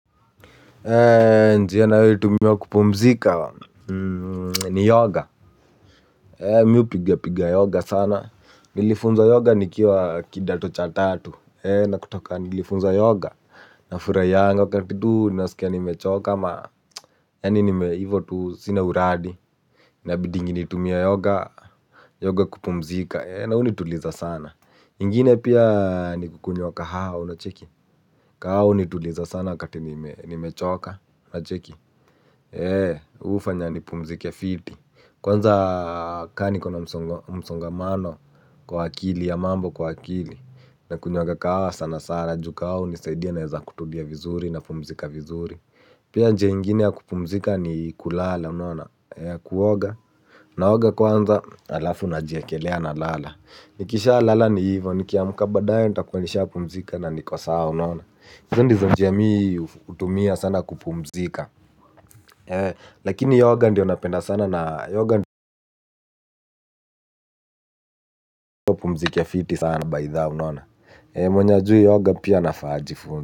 Njia ninayoitumia kupumzika ni yoga mimi hupiga piga yoga sana. Nilifunzwa yoga nikiwa kidato cha tatu na kutoka nilifunzwa yoga. Nafurahianga wakati tu nasikia nimechoka. Yaani hivyo tu, sina uradi. Inabidingi nitumie yoga yoga kupumzika na hunituliza sana. Ingine pia ni kukunywa kahawa unacheki kahawa hunituliza sana wakati nimechoka unacheki. Hufanya nipumzike fiti kwanza kama niko na msongamano kwa akili ya mambo kwa akili. Nakunywanga kahawa sana sana juu kahawa hunisaidia naweza kutulia vizuri napumzika vizuri. Pia njia ingine ya kupumzika ni kulala unaona kuoga. Naoga kwanza halafu najiekelea nalala nikishalala ni hivyo nikiamka baadaye nitakuwa nishapumzika na niko sawa unaona hizo ndizo njia mimi hutumia sana kupumzika. Lakini yoga ndiyo napenda sana na yoga upumzike fiti sana maithaa unaona mwenye hajui yoga pia anafaa ajifunze.